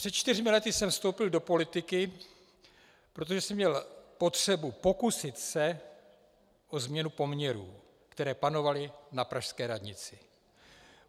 Před čtyřmi lety jsem vstoupil do politiky, protože jsem měl potřebu pokusit se o změnu poměrů, které panovaly na pražské radnici.